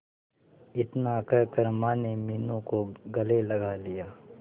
इतना कहकर माने मीनू को गले लगा लिया